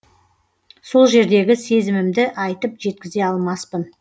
сол жердегі сезімімді айтып жеткізе алмаспын